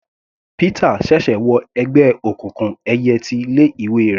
Pítà ṣẹ̀ṣẹ̀ wọ ẹgbẹ́ òkùnkùn ẹyẹ ti ilé ìwé rẹ̀.